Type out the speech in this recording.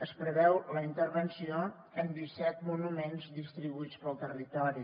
es preveu la intervenció en disset monuments distribuïts pel territori